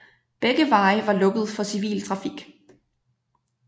Begge veje var lukket for civil trafik